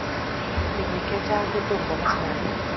Mi bik che chang' chetom kokas ng'alek.